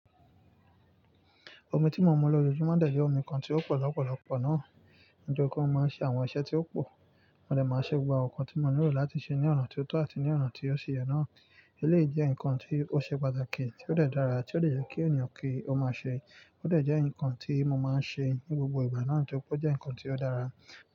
Omi tí mo mu lọjọ́júmọ̀ dẹ̀ jẹ́ omi kan tí ó pọ̀ lọ́pọ̀lọpọ̀ náà, nítori pe mo máa ń ṣe àwọn iṣẹ́ tí ó pò, mo dẹ̀ máa ṣe gbogbo àwọn nǹkan tí mo nílò láti ṣe ní ọ̀nà tó tọ́ àti ní ọ̀nà tí ó ṣe yẹ náà. Eléyìí jẹ́ ǹkan tí ó ṣe pàtàkì, tí ó dẹ̀ dára, tí ó lè jẹ́ kí ènìyàn kí ó máa ṣe, ó dẹ̀ jẹ́ ǹkan tí mo máa ń ṣe ní gbogbo ìgbà náà, nígbà tí ó jẹ́ ǹkan tí ó dára.